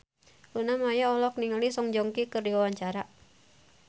Luna Maya olohok ningali Song Joong Ki keur diwawancara